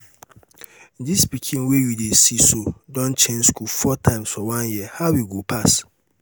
dis pikin wey you dey see so don change school four times for one year how e go pass?